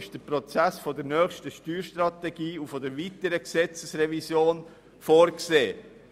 Dafür ist der Prozess für die nächste Steuerstrategie und weitere Gesetzesrevisionen vorgesehen.